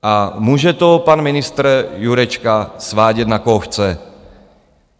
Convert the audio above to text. A může to pan ministr Jurečka svádět, na koho chce.